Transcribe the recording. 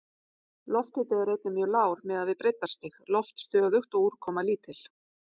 Lofthiti er einnig mjög lágur miðað við breiddarstig, loft stöðugt og úrkoma lítil.